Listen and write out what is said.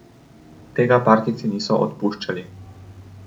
Tega partijci niso odpuščali.